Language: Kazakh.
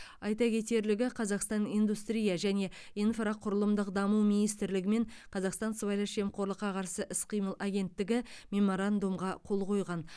айта кетерлігі қазақстан индустрия және инфрақұрылымдық даму министрлігі мен қазақстан сыбайлас жемқорлыққа қарсы іс қимыл агентігі меморандумға қол қойған